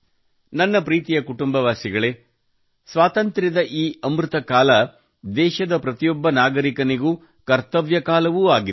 ನನ್ನ ಪ್ರೀತಿಯ ಕುಟುಂಬವಾಸಿಗಳೇ ಸ್ವಾತಂತ್ರ್ಯದ ಈ ಅಮೃತ ಕಾಲವು ದೇಶದ ಪ್ರತಿಯೊಬ್ಬ ನಾಗರಿಕನಿಗೂ ಕರ್ತವ್ಯ ಕಾಲವೂ ಆಗಿದೆ